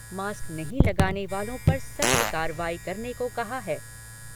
Mask नहीं लगाने वालों पर सख्त कार्रवाई करने को कहा है।